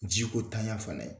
Ji ko tanya fɛnɛ